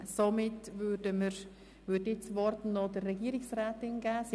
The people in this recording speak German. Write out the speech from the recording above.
Somit würde ich das Wort noch der Regierungsrätin erteilen.